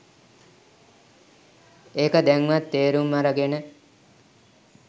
එක දැන්වත් තේරුම් අරගෙන